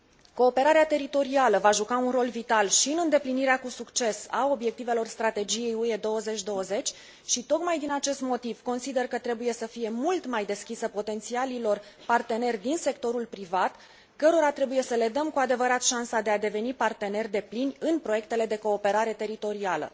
Cooperarea teritorială va juca un rol vital și în îndeplinirea cu succes a obiectivelor strategiei UE 2020 și, tocmai din acest motiv, consider că trebuie să fie mult mai deschisă potențialilor parteneri din sectorul privat, cărora trebuie să le dăm cu adevărat șansa de a deveni parteneri deplini în proiectele de cooperare teritorială..